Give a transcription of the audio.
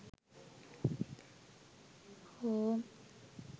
home